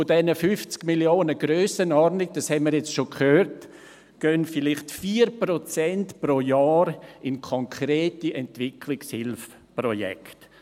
Von dieser Grössenordnung, 50 Mio. Franken, das haben wir bereits gehört, gehen vielleicht 4 Prozent pro Jahr in konkrete Entwicklungshilfeprojekte.